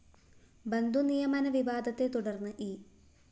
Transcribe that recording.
ബന്ധുനിയമന വിവാദത്തെ തുടര്‍ന്ന് ഇ